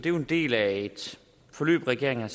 en del af et forløb regeringen